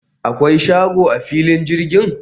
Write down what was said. akwai shago a filin jirgin?